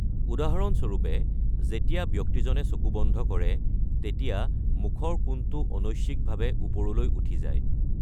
উদাহৰণ স্বৰূপে, যেতিয়া ব্যক্তিজনে চকু বন্ধ কৰে, তেতিয়া মুখৰ কোণটো অনৈচ্ছিকভাৱে ওপৰলৈ উঠি যায়।